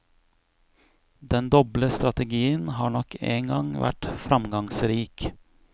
Den doble strategien har nok engang vært framgangsrik.